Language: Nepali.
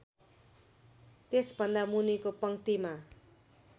त्यसभन्दा मुनिको पंक्तिमा